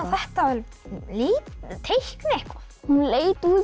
þetta að teikna eitthvað hún leit út